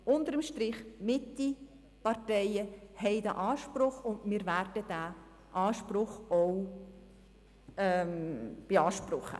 Unter dem Strich haben die Mitte-Parteien diesen Anspruch, und von diesem werden wir auch Gebrauch machen.